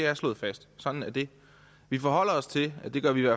er slået fast sådan er det vi forholder os til det gør vi i